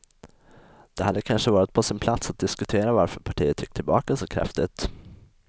Det hade kanske varit på sin plats att diskutera varför partiet gick tillbaka så kraftigt.